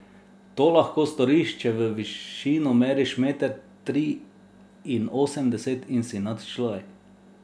To lahko storiš, če v višino meriš meter triinosemdeset in si nadčlovek.